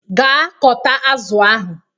Gaa kọta azụ ahụ!